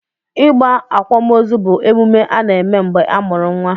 Ịgba akwamozu bụ omume a na-eme mgbe a mụrụ nwa.